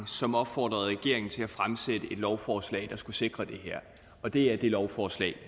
som opfordrede regeringen til at fremsætte et lovforslag der skulle sikre det her og det er det lovforslag